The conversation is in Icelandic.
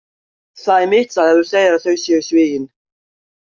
Það er mitt svar, ef þú segir að þau séu sigin.